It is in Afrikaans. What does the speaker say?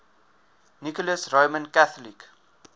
nicholas roman catholic